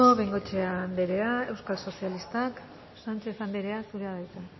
bengoechea andrea euskal sozialistak sánchez anderea zurea da hitza